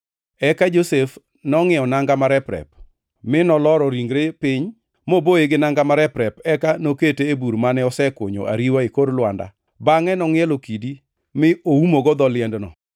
Eka Josef nongʼiewo nanga marep-rep, mi noloro ringre piny moboye gi nanga marep-rep eka nokete e bur mane osekunyo ariwa e kor lwanda. Bangʼe nongʼielo kidi mi oumogo dho liendno.